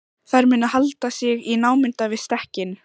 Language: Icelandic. Þær mundu halda sig í námunda við stekkinn.